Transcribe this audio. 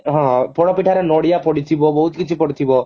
ପୋଡପିଠା ରେ ନଡିଆ ପଡିଥିବା ବହୁତ କିଛି ପଡିଥିବ